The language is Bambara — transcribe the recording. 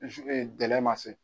Gɛlɛya ma se.